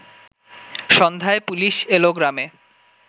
সন্ধ্যায় পুলিশ এল গ্রামে